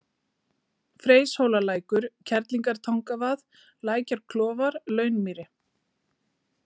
Freyshólalækur, Kerlingartangavað, Lækjarklofar, Launmýri